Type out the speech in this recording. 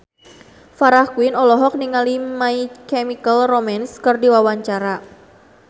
Farah Quinn olohok ningali My Chemical Romance keur diwawancara